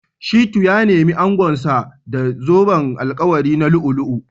Shittu ya nemi angonsa da zoben alkawari na lu'u-lu'u